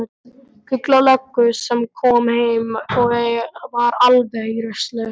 Gulla löggu sem kom heim og var alveg í rusli.